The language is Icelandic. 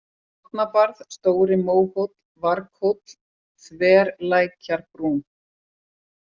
Árnabarð, Stóri-Móhóll, Varghóll, Þverlækjarbrún